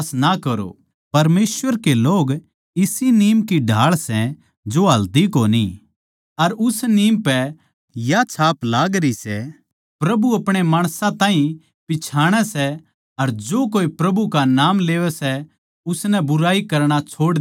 परमेसवर के लोग इसी नीम की ढाळ सै जो हालदी कोनी अर उस नीम पै या छाप लागरी सै प्रभु अपणे माणसां ताहीं पिच्छाणै सै अर जो कोए प्रभु का नाम लेवै सै उस ताहीं बुराई करणा छोड़ देणा चाहिए